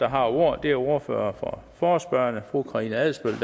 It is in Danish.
har ordet er ordføreren for forespørgerne fru karina adsbøl